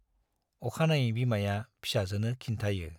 अखानायै बिमाया फिसाजोनो खिन्थायो।